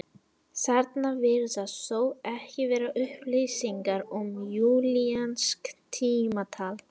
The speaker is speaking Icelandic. Þarna virðast þó ekki vera upplýsingar um júlíanskt tímatal.